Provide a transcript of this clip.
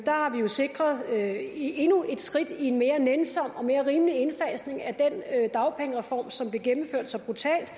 har vi jo sikret endnu et skridt mod en mere nænsom og mere rimelig indfasning af den dagpengereform som blev gennemført så brutalt